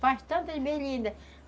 Faz tantas berlindas.